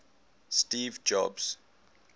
steve jobs